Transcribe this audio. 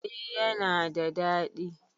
E, yana da daɗi.